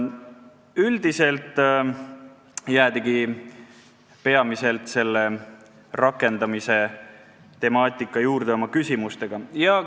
Üldiselt jäädigi küsimustega peamiselt selle rakendamise temaatika juurde.